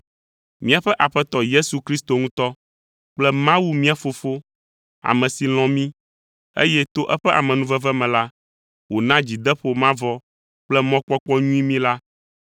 Míaƒe Aƒetɔ Yesu Kristo ŋutɔ kple Mawu mía Fofo, ame si lɔ̃ mí, eye to eƒe amenuveve me la, wòna dzideƒo mavɔ kple mɔkpɔkpɔ nyui mí la